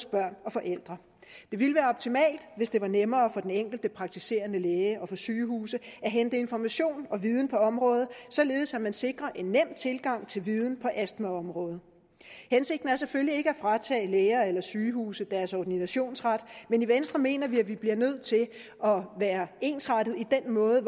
børn og forældre det ville være optimalt hvis det var nemmere for den enkelte praktiserende læge og for sygehuse at hente information og viden på området således at man sikrer en nem tilgang til viden på astmaområdet hensigten er selvfølgelig ikke at fratage læger eller sygehuse deres ordinationsret men i venstre mener vi at vi bliver nødt til at være ensrettet i den måde